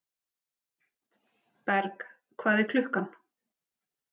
Berg, hvað er klukkan?